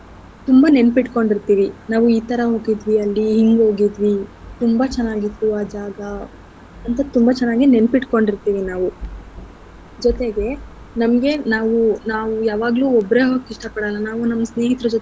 ತುಂಬಾ ನೆನ್ಪಿಟ್ಕೊಂಡಿರ್ತಿವಿ. ನಾವು ಈತರ ಹೋಗಿದ್ವಿ ಅಲ್ಲಿ ಹಿಂಗ್ ಹೋಗಿದ್ವಿ ತುಂಬಾ ಚೆನ್ನಾಗಿತ್ತು ಆ ಜಾಗ ಅಂತ ತುಂಬ ಚೆನ್ನಾಗಿ ನೆನ್ಪಿಟ್ಕೊಂಡಿರ್ತಿವಿ ನಾವು ಜೊತೆಗೆ ನಮ್ಗೆ ನಾವು ನಾವು ಯಾವಾಗ್ಲು ಒಬ್ರೆ ಹೋಗಕ್ ಇಷ್ಟ ಪಡಲ್ಲ ನಾವು ನಮ್ ಸ್ನೇಹಿತರ ಜೊತೆ.